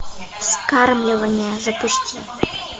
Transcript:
вскармливание запусти